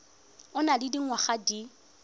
o nang le dingwaga di